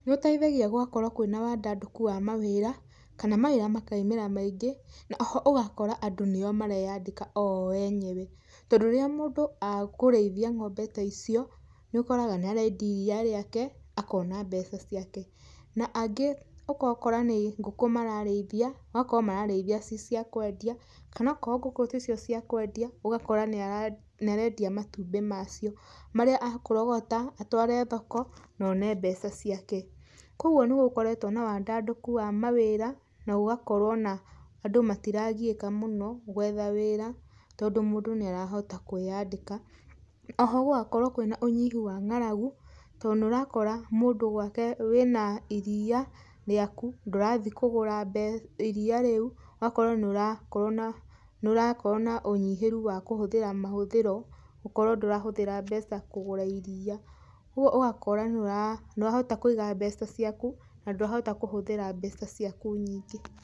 Nĩ ũteithagĩa gũgakorwo kwĩna wandandũku wa mawira, kana mawĩra makaimĩra maingĩ, na oho ũgakora andũ nio mareyandĩka oo enyewe. Tondũ rĩrĩa mũndũ akũrĩithia ngombe ta icio, nĩ ũkoraga nĩ arendia iria rĩake, akona mbeca ciake. Na angĩ ũgakora nĩ ngũkũ mararĩithia, ũgakora mararĩithia ci cia kwendia kana okorwo ngũkũ ticio cia kwendia, ugakora nĩ arendia matumbĩ macio, marĩa akorogota, atware thoko, na one mbeca ciake. Kogwo nĩ gũkoretwo na wandandũku wa mawĩra, na gũgakorwo na andũ matiragiĩka mũno gwetha wĩra, tondũ mũndũ nĩ arahota kwĩyandĩka. Oho gũgakorwo kwĩna ũnyihu wa ngaragu, to nĩ ũrakora mũndũ gwake wĩna iria rĩaku, ndũrathi kũgũra iria rĩu, ũgakora nĩ ũrakorwo na ũnyihĩru wa kũhũthĩra mahũthĩro, gũkorwo ndũrahũthĩra mbeca kũgũra iria. Kogwo ũgakora nĩ ũrahota kũiga mbeca ciaku, na ndũrahota kũhũthĩra mbeca ciaku nyingĩ.